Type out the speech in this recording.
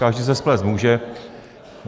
Každý se splést může.